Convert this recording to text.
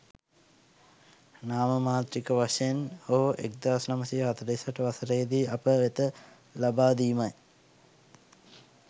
නාමමාත්‍රික වශයෙන් හෝ 1948 වසරේදි අප වෙත ලබා දීමයි.